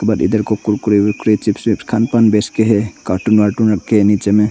और इधर को कुरकुरे वर्कुरे चिप्स विप्स खान पान बेचते हैं कार्टून वार्तून रखे हैं नीचे में।